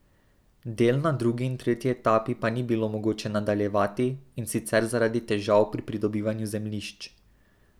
Del na drugi in tretji etapi pa ni bilo mogoče nadaljevati, in sicer zaradi težav pri pridobivanju zemljišč.